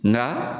Nka